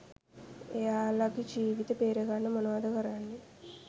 එයාලගෙ ජීවිත බේරගන්න මොනවද කරන්නෙ